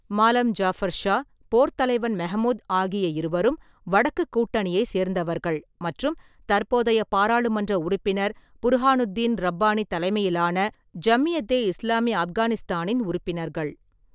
மாலம் ஜாபர் ஷா, போர்த் தலைவன் மெஹ்மூத் ஆகிய இருவரும் "வடக்குக் கூட்டணியை" சேர்ந்தவர்கள் மற்றும் தற்போதைய பாராளுமன்ற உறுப்பினர் புர்ஹானுத்தீன் ரப்பானி தலைமையிலான ஜம்மியத்தே இஸ்லாமி ஆப்கானிஸ்தானின் உறுப்பினர்கள்.